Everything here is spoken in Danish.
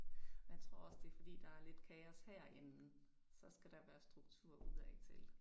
Men tror også at det fordi der er lidt kaos herinde så skal der være struktur udadtil